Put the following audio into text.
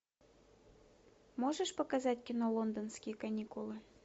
можешь показать кино лондонские каникулы